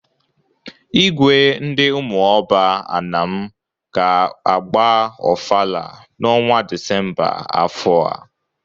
Igwe ndị Umuoba Anam ga-agba ọfala n'ọnwa Disemba afọ a.